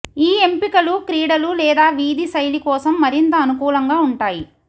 ఈ ఎంపికలు క్రీడలు లేదా వీధి శైలి కోసం మరింత అనుకూలంగా ఉంటాయి